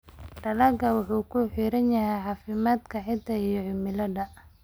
Dalaggu wuxuu ku xiran yahay caafimaadka ciidda iyo cimilada.